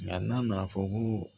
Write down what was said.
n'a nana fɔ ko